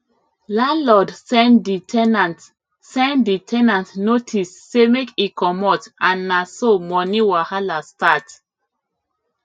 landlord send di ten ant send di ten ant notice say make e comot and na so money wahala start